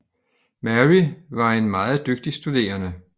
Mary var en meget dygtig studerende